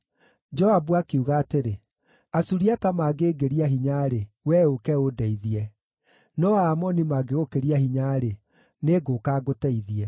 Joabu akiuga atĩrĩ, “Asuriata mangĩĩngĩria hinya-rĩ, wee ũũke ũndeithie; no Aamoni mangĩgũkĩria hinya-rĩ, nĩngũũka ngũteithie.